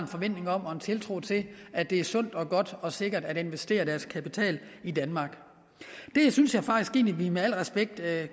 forventning om og en tiltro til at det er sundt og godt og sikkert at investere deres kapital i danmark det synes jeg faktisk at vi med al respekt alle